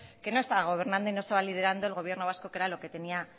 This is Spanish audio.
que no estaba gobernando y no estaba liderando el gobierno vasco que era lo que tenía